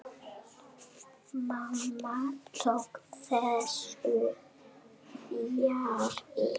Mamma tók þessu fjarri.